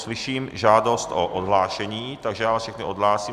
Slyším žádost o odhlášení, takže vás všechny odhlásím.